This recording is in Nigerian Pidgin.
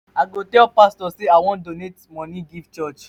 i go tell pastor say i wan donate money give church.